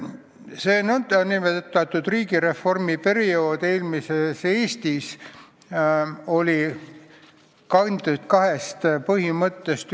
See nn riigireformi periood eelmises Eestis oli kantud kahest põhimõttest.